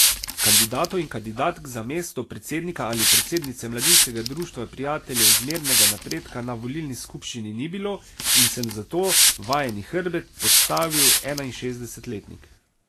Kandidatov in kandidatk za mesto predsednika ali predsednice mladinskega Društva prijateljev zmernega napredka na volilni skupščini ni bilo in sem zato vajeni hrbet podstavil enainšestdesetletnik.